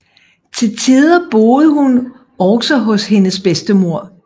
Til tider boede hun også hos hendes bedstemor